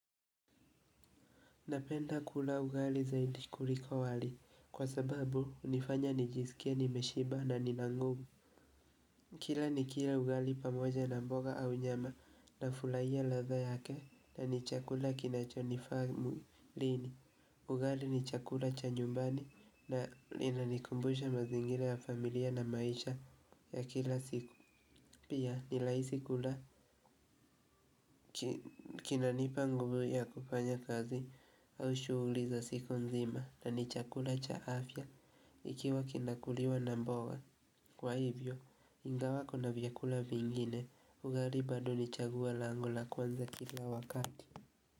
Napenda kula ugali zaidi kuliko wali kwa sababu hunifanya nijisikie nimeshiba na nina nguvu. Kila nikila ugali pamoja na mboga au nyama nafurahia ladha yake na ni chakula kinachonifaa mwilini. Ugali ni chakula cha nyumbani na inanikumbusha mazingira ya familia na maisha ya kila siku. Pia ni rahisi kula kinanipa nguvu ya kufanya kazi au shughuli za siku nzima na ni chakula cha afya ikiwa kinakuliwa na mboga. Kwa hivyo, ingawa kuna vyakula vingine, ugali bado ni chaguo langu la kwanza kila wakati.